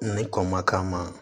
Ne kɔ ma k'a ma